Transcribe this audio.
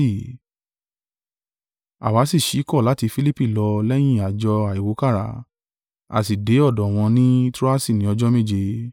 Àwa sì ṣíkọ̀ láti Filipi lọ lẹ́yìn àjọ àìwúkàrà, a sì dé ọ̀dọ̀ wọn ní Troasi ni ọjọ́ méje.